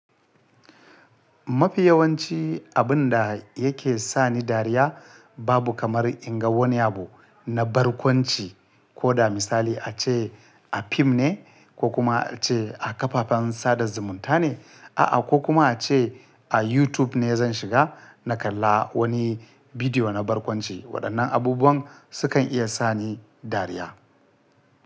Mafi yawanci abun da yake sa ni dariya babu kamar in ga wani abu na barkwanci. Ko da misali ace a fim ne ko kuma ace a kafafen sada zumunta ne, a'a ko kuma ace a YouTube ne zan shiga na kalla wani bidiyo na barkwanci waɗannan abubuwan su kan iya sa ni dariya.